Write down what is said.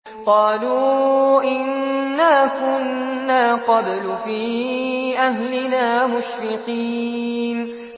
قَالُوا إِنَّا كُنَّا قَبْلُ فِي أَهْلِنَا مُشْفِقِينَ